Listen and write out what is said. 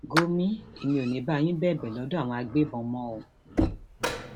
gọmi èmi ò ní í bá yín bẹbẹ lọdọ àwọn àgbébọn mọ o